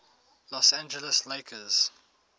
los angeles lakers